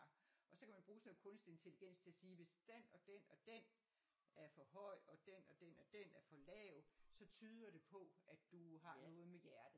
Og så kan man bruge sådan noget kunstig intelligens til at sige hvis dén og dén og dén er for høj og dén og dén og dén er for lav så tyder det på at du har noget med hjertet